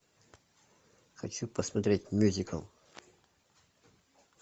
хочу посмотреть мюзикл